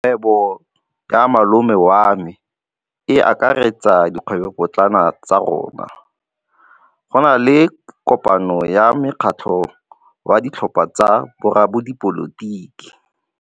Kgwêbô ya malome wa me e akaretsa dikgwêbôpotlana tsa rona. Go na le kopanô ya mokgatlhô wa ditlhopha tsa boradipolotiki.